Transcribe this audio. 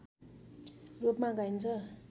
रूपमा गाइन्छ